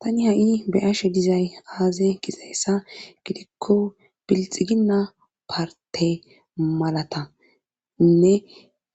tani ha'i be'ashe dizay aaze gizayssa gidikko bilxiginna parte malatainne